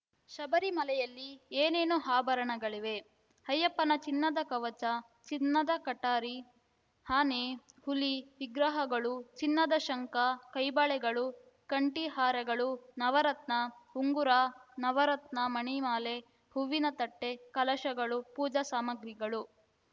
ಶಬರಿಮಲೆಯಲ್ಲಿ ಏನೇನು ಆಭರಣಗಳಿವೆ ಅಯ್ಯಪ್ಪನ ಚಿನ್ನದ ಕವಚ ಚಿನ್ನದ ಕಠಾರಿ ಆನೆ ಹುಲಿ ವಿಗ್ರಹಗಳು ಚಿನ್ನದ ಶಂಖ ಕೈಬಳೆಗಳು ಕಂಠೀಹಾರಗಳು ನವರತ್ನ ಉಂಗುರ ನವರತ್ನ ಮಣಿಮಾಲೆ ಹೂವಿನ ತಟ್ಟೆ ಕಲಶಗಳು ಪೂಜಾ ಸಾಮಗ್ರಿಗಳು